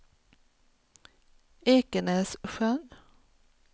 Ekenässjön